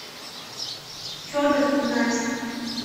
федор игнатьев